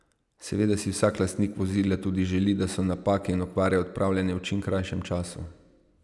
Seveda si vsak lastnik vozila tudi želi, da so napake in okvare odpravljene v čim krajšem času.